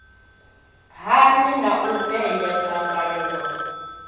hani na u vhea dzangalelo